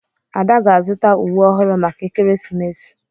Ada ga-azụta uwe ọhụrụ maka ekeresimesi.